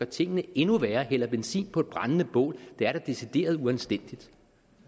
tingene endnu værre hælde benzin på et brændende bål det er da decideret uanstændigt